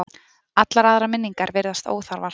Allar aðrar minningar virðast óþarfar.